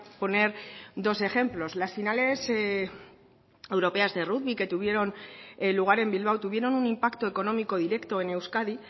poner dos ejemplos las finales europeas de rugby que tuvieron lugar en bilbao tuvieron un impacto económico directo en euskadi